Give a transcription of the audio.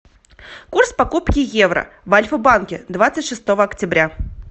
курс покупки евро в альфа банке двадцать шестого октября